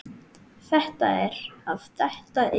Þetta er að detta inn.